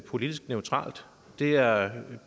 politisk neutralt det er